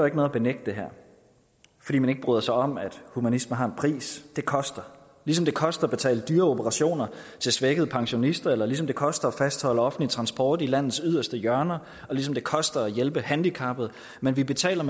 ikke noget at benægte det her fordi man ikke bryder sig om at humanisme har en pris det koster ligesom det koster at betale dyre operationer til svækkede pensionister og ligesom det koster at fastholde offentlig transport i landets yderste hjørner og ligesom det koster at hjælpe handicappede men det betaler